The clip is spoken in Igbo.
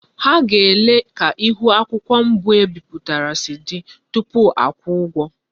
Ha ga-ele ka ihu akwukwo mbu ebiputara si di tupu akwuo ugwo.